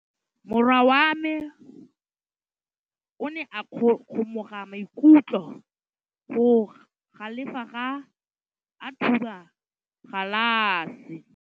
Morwa wa me o ne a kgomoga maikutlo ka go galefa fa a thuba galase.